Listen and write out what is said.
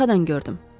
Arxadan gördüm.